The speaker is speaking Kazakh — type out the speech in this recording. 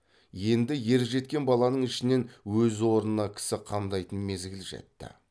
енді ержеткен баланың ішінен өз орнына кісі қамдайтын мезгіл жетті